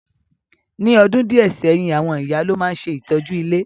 Ní odùn díẹ̀ sẹ́yìn, àwon ìyá lo ma n se ìtọ́jú ilé.